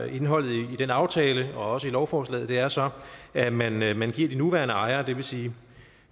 indholdet i den aftale og også i lovforslaget er så at man at man giver de nuværende ejere det vil sige